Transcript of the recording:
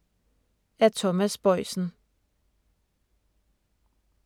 Af Thomas Boisen